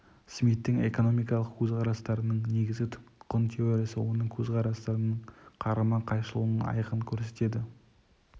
смиттің экономикалық көзқарастарының негізгі құн теориясы оның көзқарастарының қарама қайшылығын айқын көрсетеді